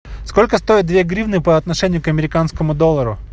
сколько стоят две гривны по отношению к американскому доллару